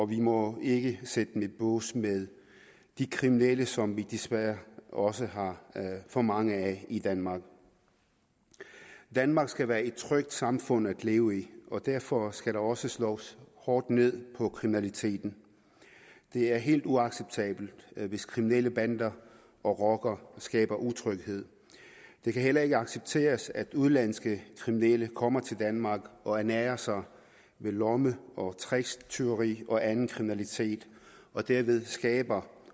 vi må ikke sætte dem i bås med de kriminelle som vi desværre også har for mange af i danmark danmark skal være et trygt samfund at leve i og derfor skal der også slås hårdt ned på kriminaliteten det er helt uacceptabelt hvis kriminelle bander og rockere skaber utryghed det kan heller ikke accepteres at udenlandske kriminelle kommer til danmark og ernærer sig ved lomme og tricktyverier og anden kriminalitet og derved skaber